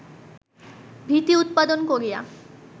ভীতি উৎপাদন করিয়া